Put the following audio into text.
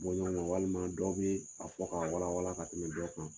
walima dɔ bɛ a fɔ k'a wala wala ka tɛmɛ dɔ kan.